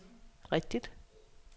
rigtigt